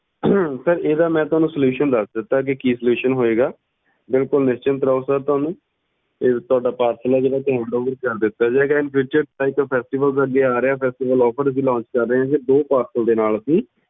sir ਇਹਦਾ ਮੈਂ ਤੁਹਾਨੂੰ solution ਦੱਸ ਦਿੱਤਾ ਕਿ solution ਹੋਏਗਾ ਬਿਲਕੁਲ ਨਿਸ਼ਚਿੰਤ ਰਹੋ sir ਤੁਹਾਨੂੰ ਤੁਹਾਡਾ parcel ਏ ਜਿਹੜਾ ਕਰ ਦਿੱਤਾ ਜਾਏਗਾ infuture ਇੱਕ festivals ਅੱਗੇ ਆ ਰਿਹਾ festivalofferlaunch ਕਰ ਰਹੇ ਆ ਉਹ ਦੇ ਨਾਲ ਅੱਸੀ